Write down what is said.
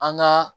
An ka